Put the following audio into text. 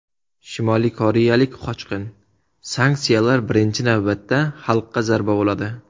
Shimoliy koreyalik qochqin: Sanksiyalar birinchi navbatda xalqqa zarba bo‘ladi.